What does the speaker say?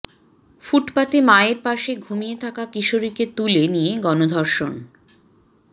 ফুটপাতে মায়ের পাশে ঘুমিয়ে থাকা কিশোরীকে তুলে নিয়ে গণধর্ষণ